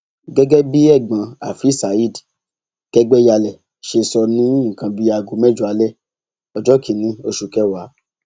gẹgẹ bí ẹgbọn afeez saheed kẹgbẹyàlẹ ṣe sọ ní nǹkan bíi aago mẹjọ alẹ ọjọ kìnínní oṣù kẹwàá